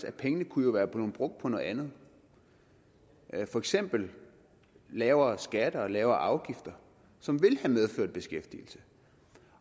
at pengene jo kunne være brugt på noget andet for eksempel lavere skatter og lavere afgifter som ville have medført beskæftigelse